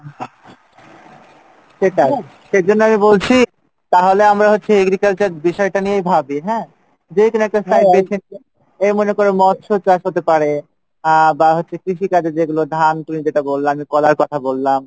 তো আমি বলছি আমরা হচ্ছে এই বিষয়টা নিয়ে ভাবি হ্যাঁ? যে এখানে একটা যে মনে করো এখানে একটা মৎস চাষ হতে পারে বাঁ কৃষি কাজের যে তুমি ধান আর আমি কলার কথা বললাম,